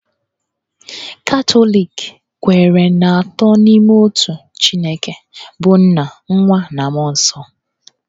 Katọlik kweere n'Atọ n'Ime Otu; Chineke bụ́ nna, nwa, na mmụọ nsọ.